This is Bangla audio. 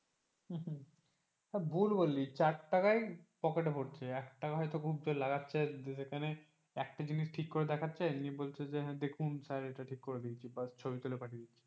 ভুল বললি চার টাকায় পকেটে ভরছে একটা খুব জোর হয়তো লাগাচ্ছে যেখানে একটা জিনিস ঠিক করে দেখাচ্ছে নিয়ে বলছে যে দেখুন স্যার এটা ঠিক করে দিয়েছি ছবি তুলে পাঠিয়ে দিচ্ছে